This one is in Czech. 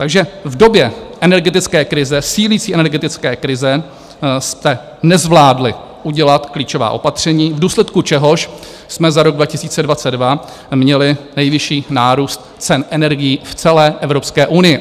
Takže v době energetické krize, sílící energetické krize, jste nezvládli udělat klíčová opatření, v důsledku čehož jsme za rok 2022 měli nejvyšší nárůst cen energií v celé Evropské unii.